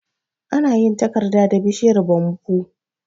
Ana yin takarda da bishiyar "Bamboo".